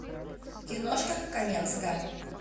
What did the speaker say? киношка каменская